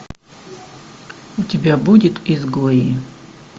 у тебя будет изгои